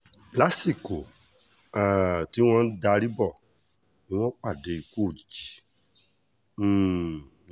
lásìkò um tí wọ́n ń darí bọ́ ni wọ́n pàdé ikú òjijì um náà